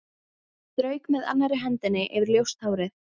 Strauk með annarri hendi yfir ljóst hárið.